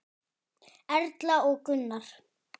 Erla og Gunnar.